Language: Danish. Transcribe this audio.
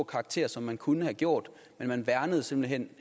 karakter som man kunne have gjort men man værnede simpelt hen